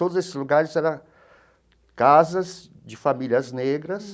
Todos esses lugares era casas de famílias negras.